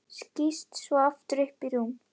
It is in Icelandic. Skýst svo aftur upp í rúm.